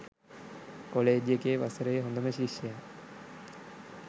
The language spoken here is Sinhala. කොලෙජ් එකේ වසරේ හොඳම ශිෂ්‍යයා